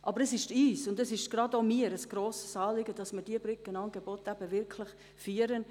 Aber es ist uns und insbesondere auch mir ein grosses Anliegen, diese Brückenangebote wirklich zu führen.